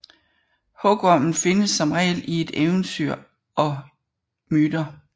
Hugormen findes som regel i eventyr og myter